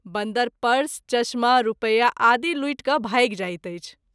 बन्दर पर्स, चश्मा, रूपया आदि लूटि क’ भाइग जाइत अछि।